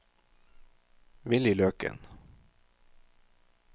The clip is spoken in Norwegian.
Willy Løkken